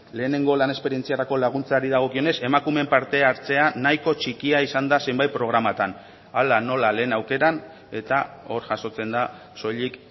lehenengo lan esperientziarako laguntzari dagokionez emakumeen parte hartzea nahiko txikia izan da zenbait programatan hala nola lehen aukeran eta hor jasotzen da soilik